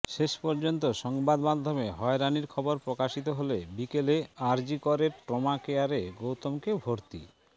শেষ পর্যন্ত সংবাদমাধ্যমে হয়রানির খবর প্রকাশিত হলে বিকেলে আরজিকরের ট্রমা কেয়ারে গৌতমকে ভর্তি